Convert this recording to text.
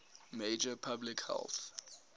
major public health